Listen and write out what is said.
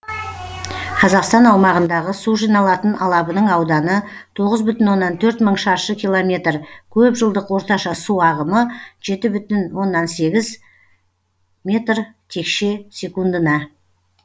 қазақстан аумағындағы су жиналатын алабының ауданы тоғыз бүтін оннан төрт мың шаршы километр көп жылдық орташа су ағымы жеті бүтін оннан сегіз метр текше секундына